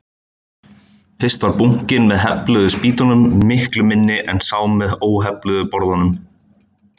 Fyrst var bunkinn með hefluðu spýtunum miklu minni en sá með óhefluðu borðunum.